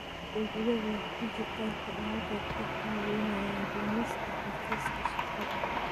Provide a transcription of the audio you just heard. Adeegyada dijitaalka ah waxay kaa caawinayaan dhimista xafiiska shaqada.